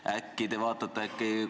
Äkki te uurite järele.